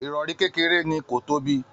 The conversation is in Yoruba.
Irọri kékeré ni, ko tóbi.